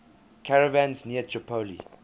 caravans near tripoli